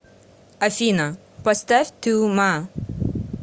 афина поставь ту ма